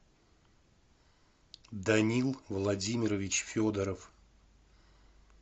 данил владимирович федоров